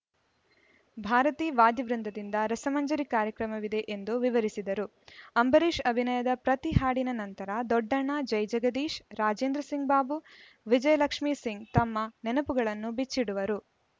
ಭಾರತೀ ವಾದ್ಯ ವೃಂದದಿಂದ ರಸಮಂಜರಿ ಕಾರ್ಯಕ್ರಮವಿದೆ ಎಂದು ವಿವರಿಸಿದರು ಅಂಬರೀಷ್‌ ಅಭಿನಯದ ಪ್ರತಿ ಹಾಡಿನ ನಂತರ ದೊಡ್ಡಣ್ಣ ಜೈಜಗದೀಶ ರಾಜೇಂದ್ರ ಸಿಂಗ್‌ ಬಾಬು ವಿಜಯಲಕ್ಷ್ಮೀ ಸಿಂಗ್‌ ತಮ್ಮ ನೆನಪುಗಳನ್ನು ಬಿಚ್ಚಿಡುವರು